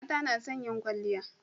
mata nason yin kwalliya